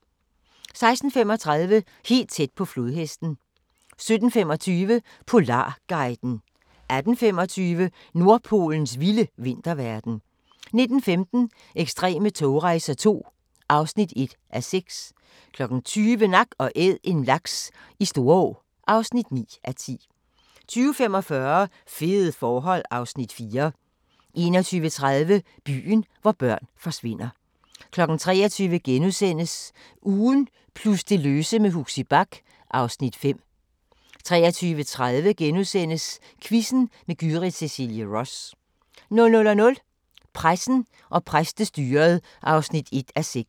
16:35: Helt tæt på flodhesten 17:25: Polarguiden 18:25: Nordpolens vilde vinterverden 19:15: Ekstreme togrejser II (1:6) 20:00: Nak & Æd – en laks i Storå (9:10) 20:45: Fede forhold (Afs. 4) 21:30: Byen, hvor børn forsvinder 23:00: Ugen plus det løse med Huxi Bach (Afs. 5)* 23:30: Quizzen med Gyrith Cecilie Ross * 00:00: Pressen og præstestyret (1:6)